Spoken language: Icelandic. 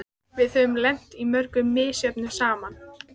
Hjalta, hringdu í Hugrúnu.